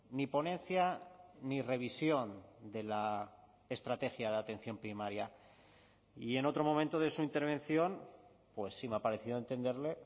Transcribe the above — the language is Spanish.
ni ponencia ni revisión de la estrategia de atención primaria y en otro momento de su intervención pues sí me ha parecido entenderle